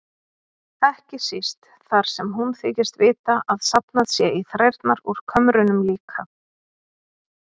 Ekki síst þar sem hún þykist vita að safnað sé í þrærnar úr kömrunum líka.